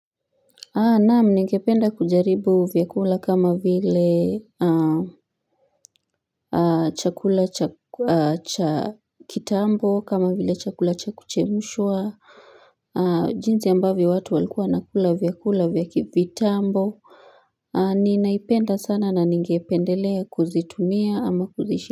Naam ningependa kujaribu vyakula kama vile chakula cha kitambo kama vile chakula cha kuchemshwa jinsi ambavyo watu walikuwa wanakula vyakula vya kivitambo Ninaipenda sana na ningependelea kuzitumia ama kuzishi.